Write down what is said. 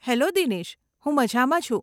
Hello Dinesh, હું મજામાં છું.